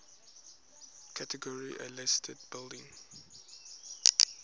category a listed buildings